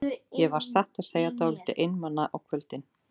Ég var satt að segja dálítið einmana á kvöldin.